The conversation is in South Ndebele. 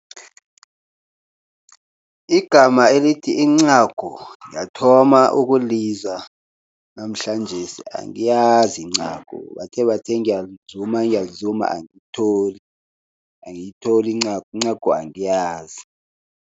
Igama elithi incagu ngiyathoma ukulizwa namhlanjesi, angiyazi incagu. Ngibathebathe ngiyalizuma, ngiyazulima angalitholi. Angiyitholi incagu, incagu angiyazi.